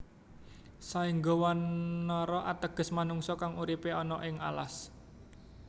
Saengga Wanara ateges manungsa kang uripe ana ing alas